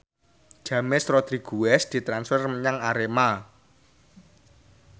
James Rodriguez ditransfer menyang Arema